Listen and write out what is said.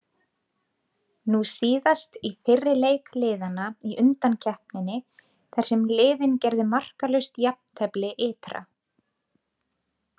Nú síðast í fyrri leik liðanna í undankeppninni þar sem liðin gerðu markalaust jafntefli ytra.